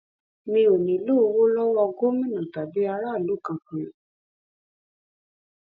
mi ò nílò owó lowó gómìnà tàbí aráàlú kankan